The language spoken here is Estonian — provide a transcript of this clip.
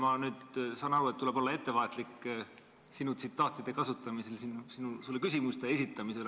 Ma saan aru, et tuleb olla ettevaatlik sinu tsitaatide kasutamisel ja sulle küsimuste esitamisel.